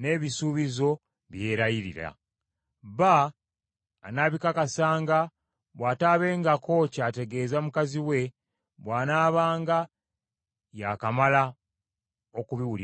n’ebisuubizo bye yeerayirira. Bba anaabikakasanga bw’ataabengako ky’ategeeza mukazi we bw’anaabanga yaakamala okubiwulirako.